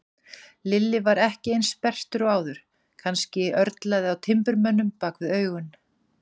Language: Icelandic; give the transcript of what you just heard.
Lilli var ekki eins sperrtur og áður, kannski örlaði á timburmönnum bak við augun.